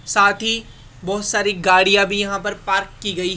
साथी बहोत सारी गाड़ियां भी यहां पर पार्क की गई--